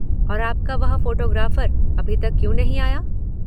और आपका वह फ़ोटोग्राफ़र अभी तक क्यों नहीं आया?